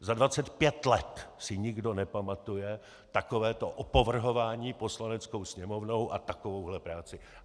Za 25 let si nikdo nepamatuje takovéto opovrhování Poslaneckou sněmovnou a takovouhle práci.